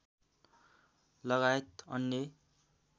लगायत अन्य